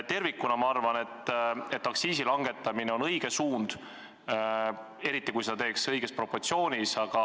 Tervikuna on aktsiisi langetamine minu arvates õige suund, eriti kui seda teha õiges proportsioonis.